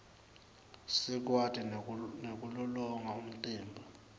sikwati nekulolonga umtimba